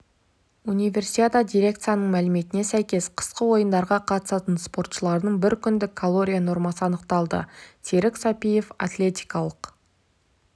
универсиада дирекцияның мәліметіне сәйкес қысқы ойындарға қатысатын спортшылардың бір күндік калория нормасы анықталды серік сәпиев атлетикалық